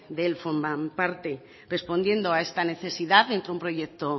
de él forman parte respondiendo a esta necesidad entró un proyecto